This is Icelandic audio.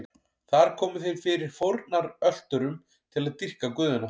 Þar komu þeir fyrir fórnarölturum til að dýrka guðina.